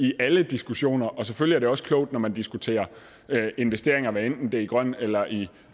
i alle diskussioner og selvfølgelig er det også klogt når man diskuterer investeringer hvad enten det er i grøn eller i